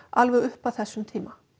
alveg upp að þessum tíma